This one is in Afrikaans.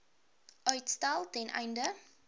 uitstel ten einde